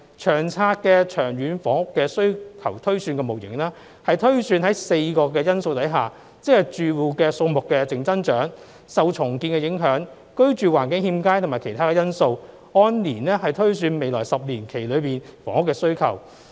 《長策》的長遠房屋需求推算的模型是推算在4個因素下，即住戶數目的淨增長、受重建的影響、居住環境欠佳，以及其他因素，按年推算未來10年期內房屋的需求。